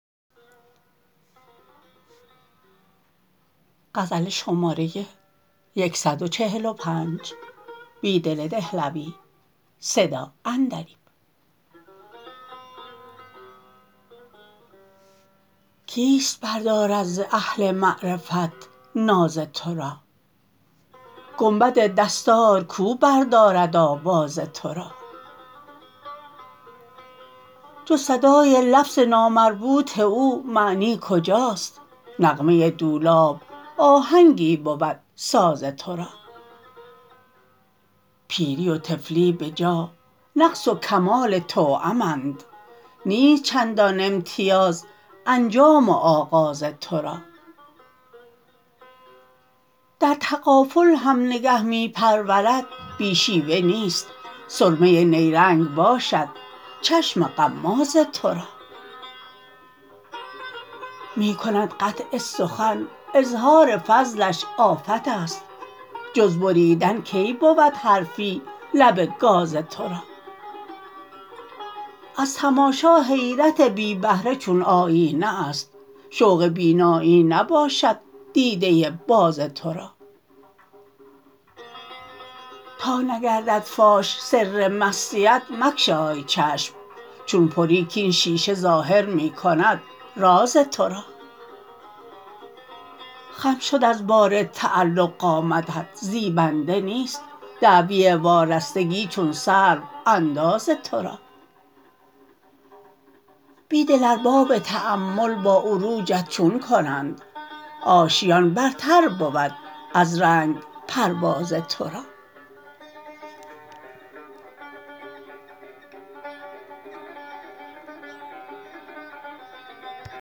کیست بردارد ز اهل معرفت ناز تو را گنبد دستارکو بردارد آواز تو را جزصدای لفظ نامربوط او معنی کجاست نغمه دولاب آهنگی بود ساز تو را پیری و طفلی بجا نقص وکمال توام اند نیست چندان امتیاز انجام و آغاز تو را درتغافل هم نگه می پروردبی شیوه نیست سرمه نیرنگ باشد چشم غمازتو را می کندقطع سخن اظهارفضلش آفت است جز بریدن کی بود حرفی لب گازتو را ازتماشا حیرت بی بهره چون آیینه است شوق بینایی نباشد دیده باز تو را تا نگردد فاش سر مستی ات مگشای چشم چون پری کاین شیشه ظاهرمی کند رازتورا خم شد از بارتعلق قامتت زیبنده نیست دعوی وارستگی چون سرو انداز تو را بیدل ارباب تأمل با عروجت چون کنند آشیان برتر بود از رنگ پرواز تو را